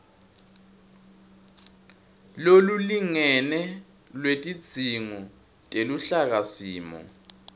lolulingene lwetidzingo teluhlakasimo